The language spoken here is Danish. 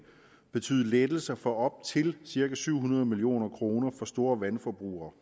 betyde lettelser for op til cirka syv hundrede million kroner for store vandforbrugere